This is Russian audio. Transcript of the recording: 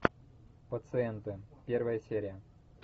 пациенты первая серия